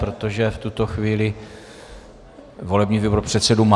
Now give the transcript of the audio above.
Protože v tuto chvíli volební výbor předsedu má.